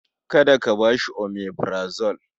Kada ka ba shi omeprazole.